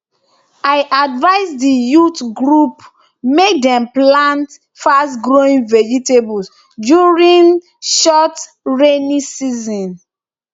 i advise di youth group mek dem plant fastgrowing vegetables during short rainy season